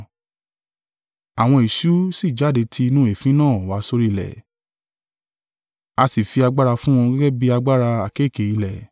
Àwọn eṣú sì jáde ti inú èéfín náà wá sórí ilẹ̀, a sì fi agbára fún wọn gẹ́gẹ́ bí agbára àkéekèe ilẹ̀.